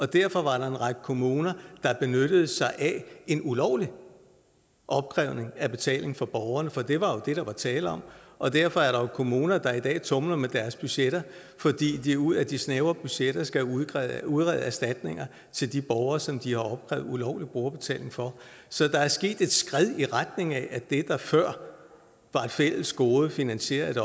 derfor var der en række kommuner der benyttede sig af en ulovlig opkrævning af betaling fra borgerne for det var jo det der var tale om og derfor er der kommuner der i dag tumler med deres budgetter fordi de ud af de snævre budgetter skal udrede udrede erstatninger til de borgere som de har opkrævet ulovlig brugerbetaling fra så der er sket et skred i retning af at det der før var et fælles gode og finansieret